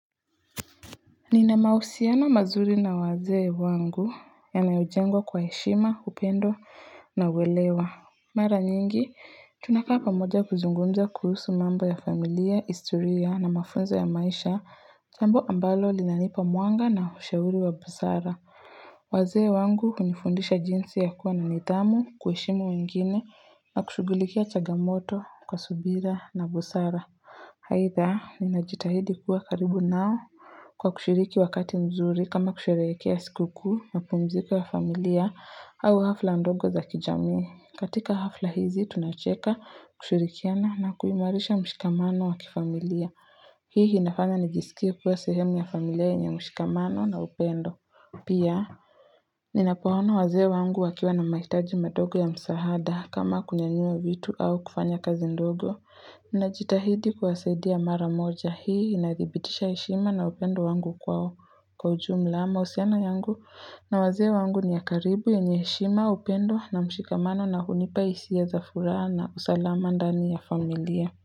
Nina mahusiana mazuri na wazee wangu yanayojengwa kwa heshima, upendo na uelewa. Mara nyingi, tunakaa pamoja kuzungumza kuhusu mambo ya familia, historia na mafunzo ya maisha, jambo ambalo linanipa mwanga na ushauri wa busara. Wazee wangu hunifundisha jinsi ya kuwa na nidhamu, kuheshimu wengine na kushugulikia chagamoto kwa subira na busara. Aidha, ninajitahidi kuwa karibu nao kwa kushiriki wakati mzuri kama kusherehekea sikukuu, mapumziko ya familia au hafla ndogo za kijamii. Katika hafla hizi, tunacheka, kushirikiana na kuimarisha mshikamano wa kifamilia. Hii inafanya nijisikie kuwa sehemu ya familia yenye mshikamano na upendo. Pia, ninapoona wazee wangu wakiwa na mahitaji madogo ya msahada kama kunyanyua vitu au kufanya kazi ndogo. Najitahidi kuwasaidia mara moja. Hii inadhibitisha heshima na upendo wangu kwao. Kwa ujumla, mahusiano yangu na wazee wangu ni ya karibu yenye heshima, upendo na mshikamano na hunipa hisia za furaha na usalama ndani ya familia.